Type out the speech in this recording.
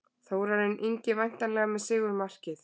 Þórarinn Ingi væntanlega með sigurmarkið.